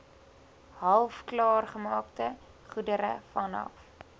halfklaargemaakte goedere vanaf